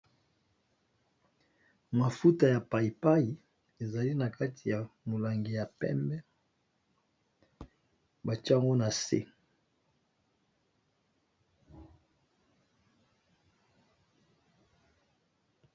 Mafuta ya payi payi ezali nakati ya mulangi ya pembe batye yango na se.